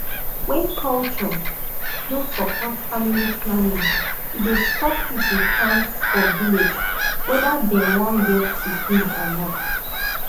when culture no support family planning e dey stop people chance for village whether dem wan get pikin or not